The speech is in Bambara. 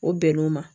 O bɛn n'o ma